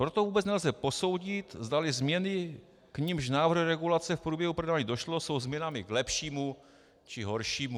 Proto vůbec nelze posoudit, zdali změny, k nimž návrhy regulace v průběhu projednávání došlo, jsou změnami k lepšímu, či horšímu.